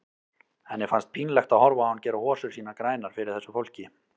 Henni fannst pínlegt að horfa á hann gera hosur sínar grænar fyrir þessu fólki.